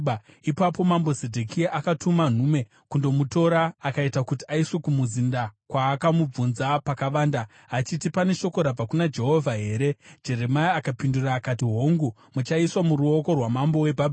Ipapo mambo Zedhekia akatuma nhume kundomutora akaita kuti aiswe kumuzinda, kwaakamubvunza pakavanda, achiti, “Pane shoko rabva kuna Jehovha here?” Jeremia akapindura akati, “Hongu, muchaiswa muruoko rwamambo weBhabhironi.”